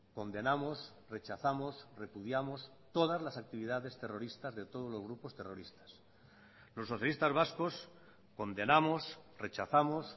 condenamos rechazamos repudiamos todas las actividades terroristas de todos los grupos terroristas los socialistas vascos condenamos rechazamos